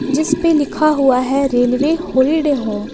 जिसपे लिखा हुआ है रेलवे होलीडे होम ।